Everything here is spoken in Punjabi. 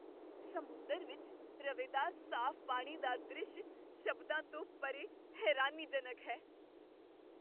ਸਮੁੰਦਰ ਵਿੱਚ ਰਵੇਦਾਰ ਸਾਫ਼ ਪਾਣੀ ਦਾ ਦ੍ਰਿਸ਼ ਸ਼ਬਦਾਂ ਤੋਂ ਪਰੇ ਹੈਰਾਨੀਜਨਕ ਹੈ!